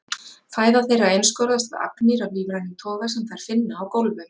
Fæða þeirra einskorðast við agnir af lífrænum toga sem þær finna á gólfum.